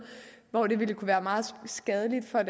og det kunne være meget skadeligt for